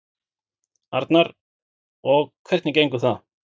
Arnar: Og hvernig gengur það?